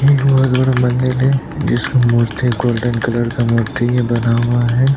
एक बहोत बड़ा मंदिर है जिसका मूर्ति गोल्डन कलर का मूर्ति है बना हुआ है ।